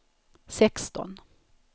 sexton